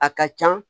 A ka can